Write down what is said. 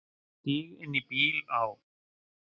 Stíg inn í bíl, á.